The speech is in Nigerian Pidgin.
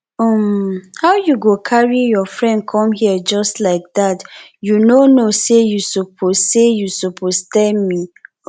um how you go carry your friend come here just like dat you no know say you suppose say you suppose tell me um first